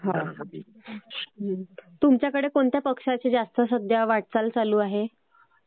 हा. तुमच्याकडे सध्या कुठल्या पक्षाची जास्त सध्या वाटचाल चालू आहे?